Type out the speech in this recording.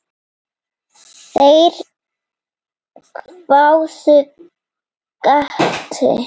Þeir hváðu: Gati?